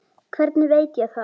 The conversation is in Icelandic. Hvernig veit ég það?